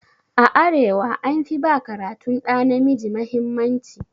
A arewa an fi ba karatun ɗa namiji mahimmanci.